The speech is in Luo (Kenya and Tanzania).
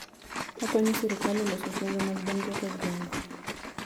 Okonyo sirkal e loso chenro mag dongruok e gengwe.